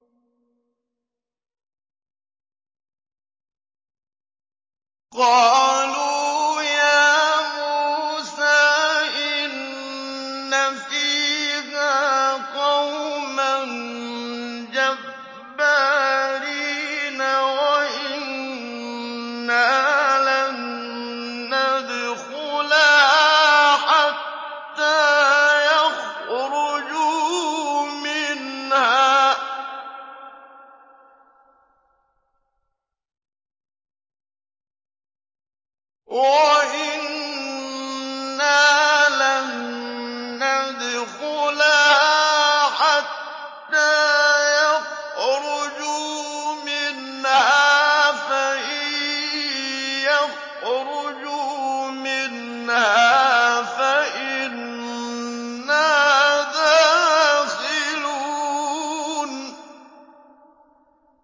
قَالُوا يَا مُوسَىٰ إِنَّ فِيهَا قَوْمًا جَبَّارِينَ وَإِنَّا لَن نَّدْخُلَهَا حَتَّىٰ يَخْرُجُوا مِنْهَا فَإِن يَخْرُجُوا مِنْهَا فَإِنَّا دَاخِلُونَ